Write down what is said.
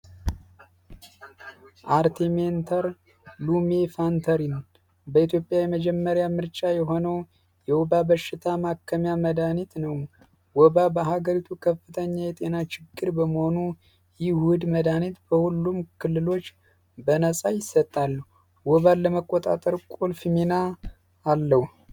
አርቲሚንተር ሎሚ ፋንታሪ በኢትዮጵያ የመጀመሪያ ምርጫ የሆኑ የወባ በሽታ መድኃኒት ነው ወባ በሀገሪቱ ከፍተኛ የጤና ችግር በመሆኑ ይሁድ መዳኒት በሁሉም ክልሎች በነፃ ይሰጣሉ ወባል ለመቆጣጠር ቁልፍ ሚና አለዉ።